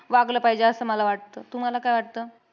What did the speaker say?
वागलं पाहिजे असं मला वाटतं. तुम्हाला काय वाटतं?